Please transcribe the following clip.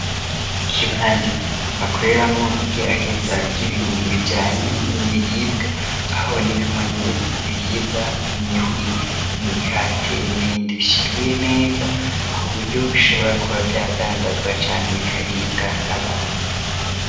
Ikibanza bakoreramwo igeragezwa ry'ibintu bijanye n'ibiribwa, aho habonekamwo neza ibiribwa: nk'imihwi, imikate ,n'ibindi bishinguye neza, ku buryo bishobora kuba vyadandazwa canke bikaribwa n'abantu.